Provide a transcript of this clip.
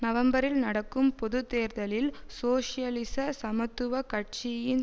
நவம்பரில் நடக்கும் பொது தேர்தலில் சோசியலிச சமத்துவ கட்சியின்